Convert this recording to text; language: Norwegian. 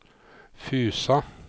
Fusa